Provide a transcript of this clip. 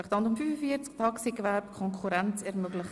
Traktandum 45, Taxigewerbe í Konkurrenz ermöglichen.